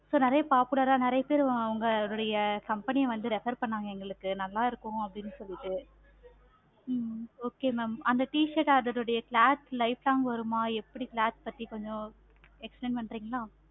so நெறைய popular ஆஹ் so நெறைய பேரு உங்களுடைய company வந்து refer பண்ணாங்க எங்களுக்கு நல்லாருக்கும் அப்படின்னு சொல்லிட்டு ஹம் okay ma'am அந்த t-shirt அதனுடைய cloth light வருமா எப்படி பத்தி கொஞ்சம் explain பன்றிங்களா?